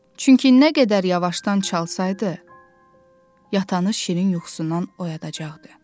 Çünki nə qədər yavaştan çalsaydı, yatanı şirin yuxusundan oyadacaqdı.